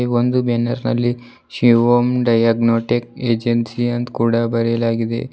ಒಂದು ಬ್ಯಾನರ್ ನಲ್ಲಿ Shivam diagnostic agency ಅಂತ ಕೂಡ ಬರೆಯಲಾಗಿದೆ.